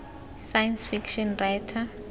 science fiction writer